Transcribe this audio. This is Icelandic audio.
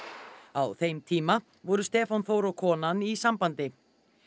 á þeim tíma voru Stefán Þór og konan í sambandi